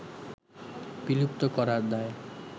বিলুপ্ত করার দায়